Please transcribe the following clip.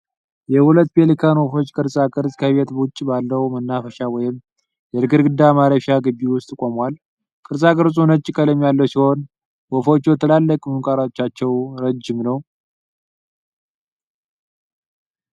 የሁለት ፔሊካን ወፎች ቅርጻ ቅርጽ ከቤት ውጪ ባለው መናፈሻ ወይም የእንግዳ ማረፊያ ግቢ ውስጥ ቆሞዋላ። ቅርጻ ቅርጹ ነጭ ቀለም ያለው ሲሆን ወፎቹ ትላልቅ ምንቃሮቻቸው ርዥም ነው ።